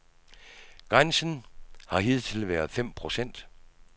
Grænsen har hidtil været fem procent.